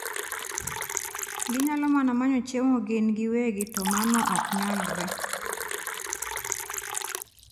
Ginyalo mana manyo chiemo gin giwegi to mano ok nyalre.